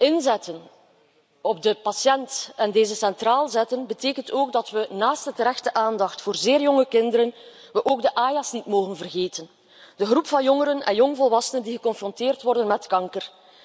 Inzetten op de patiënt en deze centraal plaatsen betekent ook dat we, naast de terechte aandacht voor zeer jonge kinderen, ook de AYA's niet mogen vergeten, de groep van jongeren en jongvolwassenen die geconfronteerd worden met kanker.